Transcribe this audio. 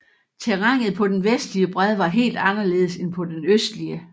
Terrænet på den vestlige bred var helt anderledes end på den østlige